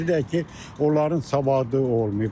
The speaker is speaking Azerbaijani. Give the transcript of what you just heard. Bir də ki, onların savadı olmayıb.